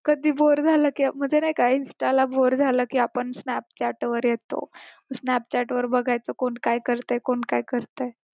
कधी बोर झालं की म्हणजे नाही का insta बोर झालं की आपण snapchat वर येतो snapchat वर बघायचं कोण काय करतय कोण काय करतय